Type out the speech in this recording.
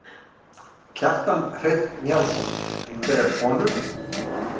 Kjartan Hreinn Njálsson: Einhverjar konur?